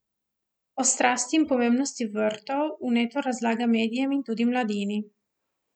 O strasti in pomembnosti vrtov vneto razlaga medijem in tudi mladini.